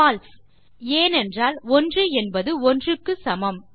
பால்சே ஏனென்றால் 1 என்பது 1 க்கு சமம்